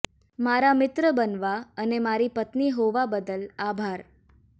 મારા મિત્ર બનવા અને મારી પત્ની હોવા બદલ આભાર